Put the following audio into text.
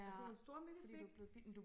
Sådan nogle storemyggestik